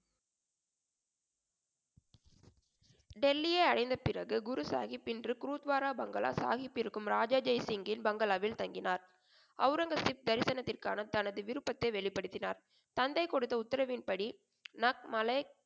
டெல்லியை அடைந்த பிறகு குரு சாகிப் இன்று குருத்வாரா bungalow சாகிப் இருக்கும் ராஜா ஜெய்சிங்கின் bungalow வில் தங்கினார். ஒளரங்கசீப் தரிசனத்திற்கான தனது விருப்பத்தை வெளிப்படுத்தினார். தந்தை கொடுத்த உத்தரவின் படி